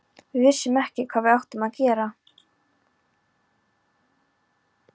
Við vissum ekkert hvað við áttum að gera.